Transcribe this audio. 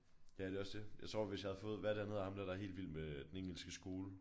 Ja det også det jeg tror hvis jeg havde fået hvad er det han hedder ham dér der er helt vild med den engelske skole?